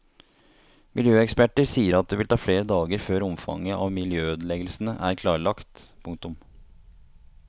Miljøeksperter sier at det vil ta flere dager før omfanget av miljøødeleggelsene er klarlagt. punktum